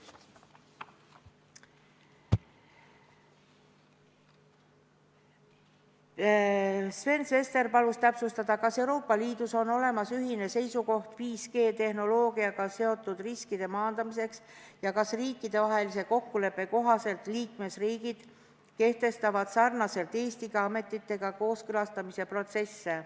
Sven Sester palus täpsustada, kas Euroopa Liidus on olemas ühine seisukoht 5G-tehnoloogiaga seotud riskide maandamiseks ja kas riikidevahelise kokkuleppe kohaselt kehtestavad ka teised liikmesriigid sarnaselt Eestiga ametitega kooskõlastamise protsessi.